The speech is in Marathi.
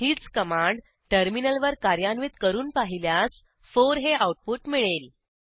हीच कमांड टर्मिनलवर कार्यान्वित करून पाहिल्यास 4 हे आऊटपुट मिळेल